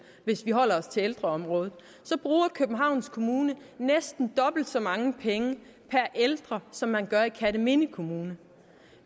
hvis vi holder os til ældreområdet så bruger københavns kommune næsten dobbelt så mange penge per ældre som man gør i kerteminde kommune